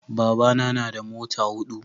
babana na da mata hudu